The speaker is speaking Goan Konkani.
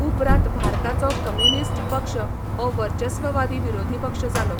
उपरांत भारताचो कम्युनिस्ट पक्ष हो वर्चस्ववादी विरोधी पक्ष जालो.